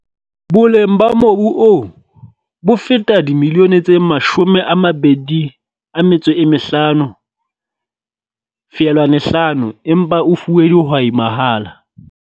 Boleng ba mobu oo bo feta R25.5 milione empa o fuwe dihwai mahala.